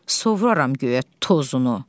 Sovururam göyə tozunu.